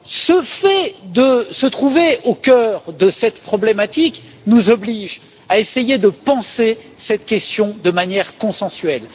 Le fait que nous nous trouvions au cœur de cette problématique nous oblige à essayer de penser cette question de manière consensuelle.